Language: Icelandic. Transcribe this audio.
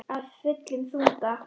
Af fullum þunga.